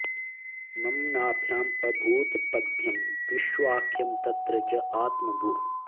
मम नाभ्याम् अभूत् पद्मं विश्वाख्यं तत्र च आत्मभूः